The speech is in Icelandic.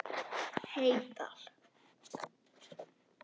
Heydal